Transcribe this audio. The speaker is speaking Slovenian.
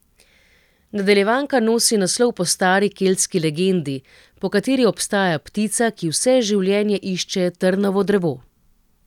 Nadaljevanka nosi naslov po stari keltski legendi, po kateri obstaja ptica, ki vse življenje išče trnovo drevo.